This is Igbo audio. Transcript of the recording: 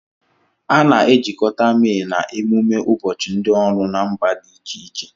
A na-ejikọta May na ememe ụbọchị ndị ọrụ na mba dị iche iche.